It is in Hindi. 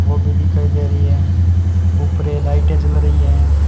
वो भी दिखाई दे रही है उपर ये लाइटें जल रही है।